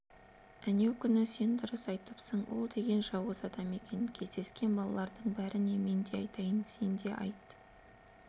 әнеу күні сен дұрыс айтыпсың ол деген жауыз адам екен кездескен балалардың бәріне мен де айтайын сен де айт